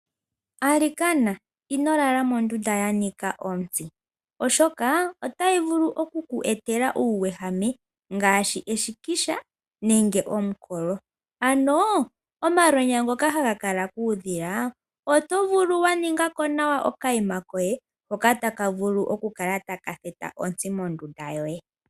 Alikana, ino lala mondunda ya nika otsi, oshoka itayi vulu oku ku etela uuwehame ngaashi eshikisha nenge omukolo. Ano omalwenya ngoka haga kala kuudhila, oto vulu wa ningako nawa oka yima koye hoka taka vulu oku kala taka theta ontsi mondunda yoye.